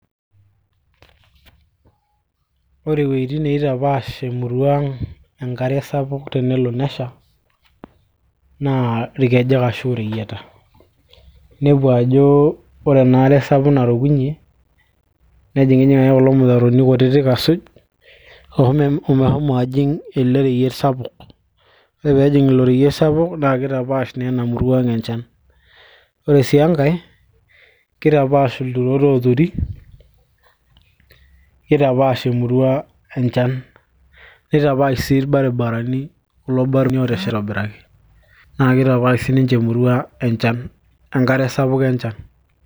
ore iwuejitin niitapash emurua ang enkare sapuk tenelo nesha naa irkejek ashu ireyieta naa inepu ajo ore enaare sapuk narukunyie nejing'ijing ake kulo mutaroni kutitik asuj omehomo ajing ele reyiet sapuk ore peejing ilo reyiet sapuk naa kitapaash naa ena murua ang enchan ore sii enkay kitapash ilturot ooturi kitapaash emurua enchan nitapaash sii irbaribarani kulo baribarani oosheta aitobiraki naa kitapaash siiniche emurua enchan, enkare sapuk enchan.